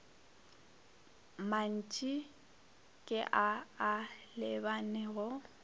mantši ke a a lebanego